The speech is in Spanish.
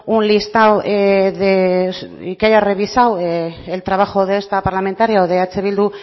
un listado y que haya revisado el trabajo de esta parlamentaria o de eh bildu